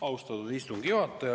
Austatud istungi juhataja!